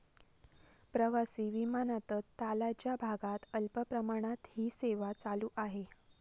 प्रवासी विमानातच तालाच्या भागात अल्प प्रमाणात हि सेवा चालू आहे.